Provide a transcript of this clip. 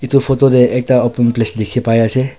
Tu photo tey ekta open place dikhi pai ase.